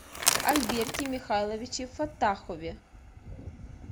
альберте михайловиче фаттахове